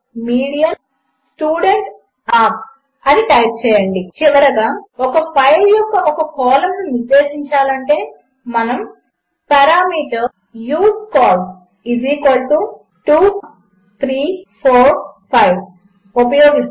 medianstudent marks అని type చేసి చివరిగా ఒక ఫైల్ యొక్క ఒక కాలంను నిర్దేశించాలంటే మనము పారామీటర్ usecols2345 ఉపయోగిస్తాము